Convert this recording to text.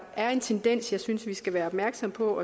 er en tendens som jeg synes vi skal være opmærksomme på